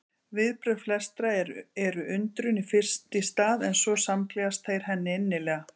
Viðbrögð flestra eru undrun fyrst í stað en svo samgleðjast þeir henni innilega.